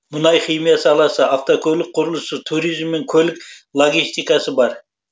мұнай химия саласы автокөлік құрылысы туризм мен көлік логистикасы бар